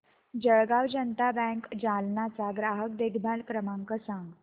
Jalgaon Janata bank Jalna चा ग्राहक देखभाल क्रमांक सांग